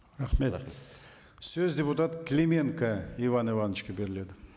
рахмет сөз депутат клеменко иван ивановичке беріледі